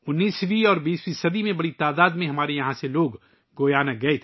19ویں اور 20ویں صدی میں یہاں سے بڑی تعداد میں لوگ گیانا گئے